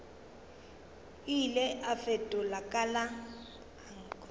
ile a fetola ka la